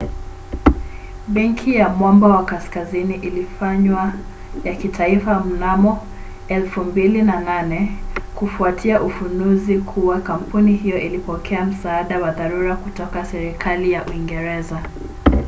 benki ya mwamba wa kaskazini ilifanywa ya kitaifa mnamo 2008 kufuatia ufunuzi kuwa kampuni hiyo ilipokea msaada wa dharura kutoka serikali ya uingereza